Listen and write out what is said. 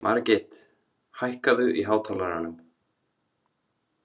Margit, hækkaðu í hátalaranum.